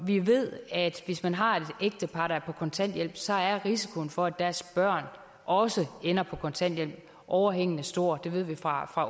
vi ved at hvis man har et ægtepar der er på kontanthjælp så er risikoen for at deres børn også ender på kontanthjælp overhængende stor det ved vi fra